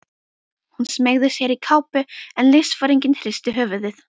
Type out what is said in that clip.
Hún smeygði sér í kápu en liðsforinginn hristi höfuðið.